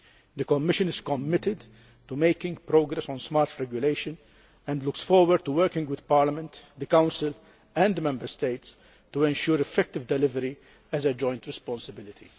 The Commission is committed to making progress on smart regulation and looks forward to working with Parliament, the Council and the Member States to ensure effective delivery as a joint responsibility.